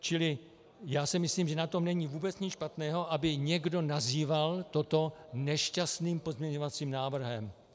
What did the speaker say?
Čili já si myslím, že na tom není vůbec nic špatného, aby někdo nazýval toto nešťastným pozměňovacím návrhem.